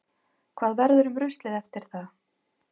Hvað verður um ruslið eftir það?